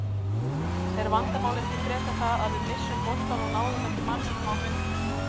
Er vandamálið ekki frekar það að við misstum boltann og náðum ekki manninum á hlaupum?